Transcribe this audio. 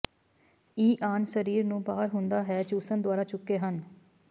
ਈ ਿਾਿਣ ਸਰੀਰ ਨੂੰ ਬਾਹਰ ਹੁੰਦਾ ਹੈ ਚੂਸਣ ਦੁਆਰਾ ਚੁੱਕੇ ਹਨ